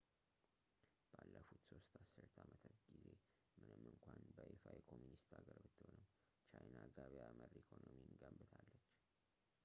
ባለፉት ሦስት አስርተ አመታት ጊዜ ምንም እንኳን በይፋ የኮሚኒስት ሀገር ብትሆንም ቻይና ገበያ መር ኢኮኖሚን ገንብታለች